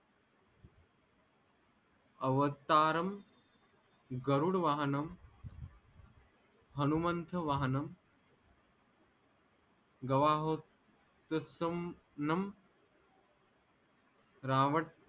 अवतारम गरुड वाहणम हनुमंथ वाहणम रावण